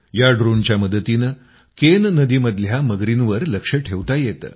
त्या ड्रोनच्या मदतीनं केन नदीमधील मगरींवर लक्ष ठेवता येतं